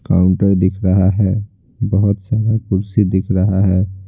Counter दिख रहा है बहुत सारा कुर्सी दिख रहा है।